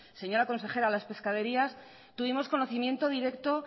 a las pescaderías tuvimos conocimiento directo